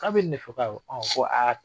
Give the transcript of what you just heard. K'aw bɛ nin de fɔ ko awɔ ko aa